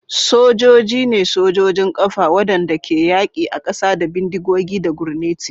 Sojoji ne sojojin ƙafa waɗanda ke yaƙi a ƙasa da bindigogi da gurneti.